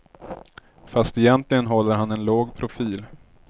Fast egentligen håller han en låg profil.